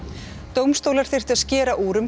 dómstólar þyrftu að skera úr um